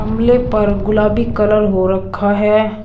गमले पर गुलाबी कलर हो रखा है।